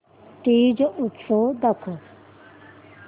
तीज उत्सव दाखव